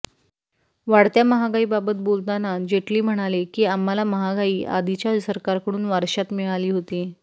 वाढत्या महागाईबाबत बोलताना जेटली म्हणाले की आम्हाला महागाई आधीच्या सरकारकडून वारश्यात मिळाली होती